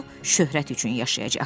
O şöhrət üçün yaşayacaqdı.